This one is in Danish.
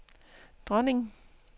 dronning